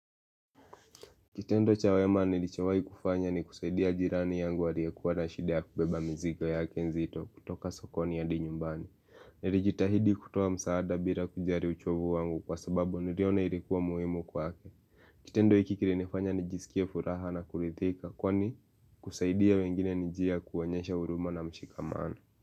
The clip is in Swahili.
Kitendo chawema nilichowai kufanya ni kusaidia jirani yangu aliye kuwana shida kubeba mzigo yake nzito kutoka sokoni yadi nyumbani Nilijitahidi kutowa msaada bila kujari uchovu wangu kwa sababu niliona ilikuwa muimu kwa ke Kitendo hikikiri nifanya nijisikia furaha na kulithika kwani kusaidia wengine nijia kuwanyesha uruma na mshikamana.